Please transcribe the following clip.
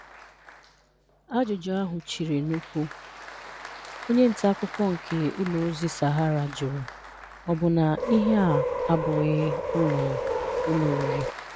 Ajụjụ ahụ chịrị n'ụ̀kwụ̀, onye nta akụkọ nke ụlọ ozi Sahara jụrụ, ọ bụ na ihe a abụghị ụlọ ụlọ oriri?